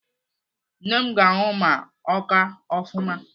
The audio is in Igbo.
Nne m ga-anwụ ma ọ kaa ofụma.